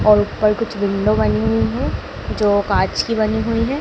और ऊपर कुछ विंडो बनी हुई है जो कांच की बनी हुई है।